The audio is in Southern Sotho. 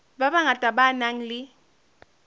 ba bangata ba nang le